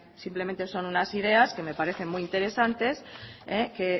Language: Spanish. simplemente son unas ideas que me parece muy interesantes que